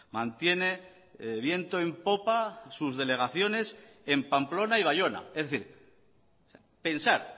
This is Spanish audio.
mantiene viento en popa sus delegaciones en pamplona y baiona es decir pensar